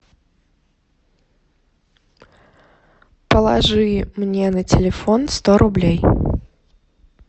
положи мне на телефон сто рублей